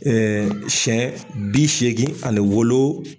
siyɛn bi seegin ani wolo